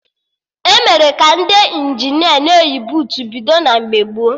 Emere ka Ndị Injinia na-eyi buutu bido na mgbe gboo